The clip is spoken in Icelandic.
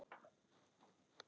Hvað heitir hún aftur?